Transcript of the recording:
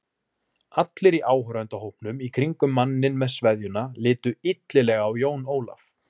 Allir í áhorfendahópnum í kringum manninn með sveðjuna litu illilega á Jón Ólaf.